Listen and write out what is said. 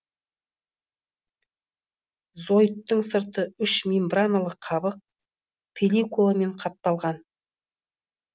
зоиттың сырты үш мембраналы қабық пелликуламен қапталған